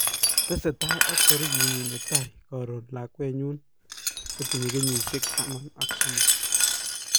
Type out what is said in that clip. tesetai ak tarikit nyin ne tai karon lakwenyu ne tinyei kenyisiek taman ak somok